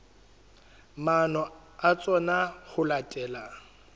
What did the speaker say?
maano a tsona ho latela